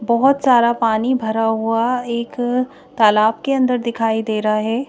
बहुत सारा पानी भरा हुआ एक तालाब के अंदर दिखाई दे रहा है।